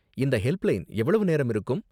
இந்த ஹெல்ப்லைன் எவ்வளவு நேரம் இருக்கும்?